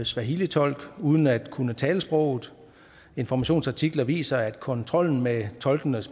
swahilitolk uden at kunne tale sproget informations artikler viser at kontrollen med tolkenes